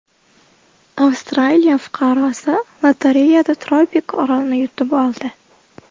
Avstraliya fuqarosi lotereyada tropik orolni yutib oldi.